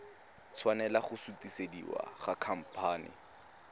tshwanela go sutisediwa go khamphane